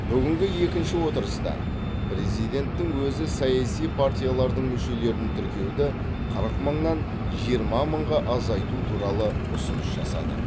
бүгінгі екінші отырыста президенттің өзі саяси партиялардың мүшелерін тіркеуді қырық мыңнан жиырма мыңға азайту туралы ұсыныс жасады